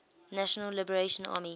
national liberation army